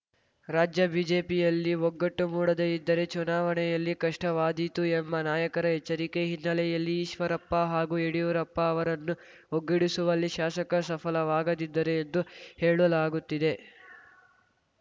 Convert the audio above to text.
ರಾಜ್ಯ ಬಿಜೆಪಿಯಲ್ಲಿ ಒಗ್ಗಟ್ಟು ಮೂಡದೇ ಇದ್ದರೆ ಚುನಾವಣೆಯಲ್ಲಿ ಕಷ್ಟವಾದೀತು ಎಂಬ ನಾಯಕರ ಎಚ್ಚರಿಕೆ ಹಿನ್ನೆಲೆಯಲ್ಲಿ ಈಶ್ವರಪ್ಪ ಹಾಗೂ ಯಡಿಯೂರಪ್ಪ ಅವರನ್ನು ಒಗ್ಗೂಡಿಸುವಲ್ಲಿ ಶಾಸಕ ಸಫಲವಾಗದಿದ್ದರೆ ಎಂದು ಹೇಳಲಾಗುತ್ತಿದೆ